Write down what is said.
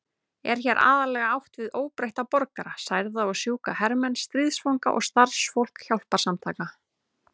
Er hér aðallega átt við óbreytta borgara, særða og sjúka hermenn, stríðsfanga og starfsfólk hjálparsamtaka.